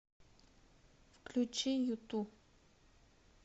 включи юту